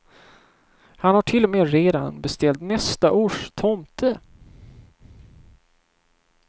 Han har till och med redan beställt nästa års tomte.